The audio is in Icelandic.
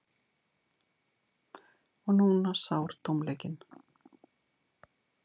Og núna sár tómleikinn.